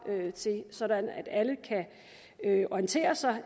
sådan at alle kan orientere sig